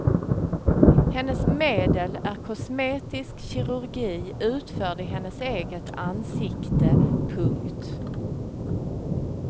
Hennes medel är kosmetisk kirurgi utförd i hennes eget ansikte. punkt